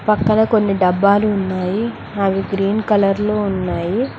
పక్కన కొన్ని డబ్బాలు ఉన్నాయి అవి గ్రీన్ కలర్ లో ఉన్నాయి.